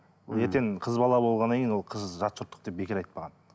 ертең қыз бала болғаннан кейін ол қыз жатжұрттық деп бекер айтпаған